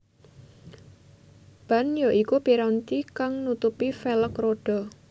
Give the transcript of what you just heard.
Ban ya iku piranti kang nutupi velg rodha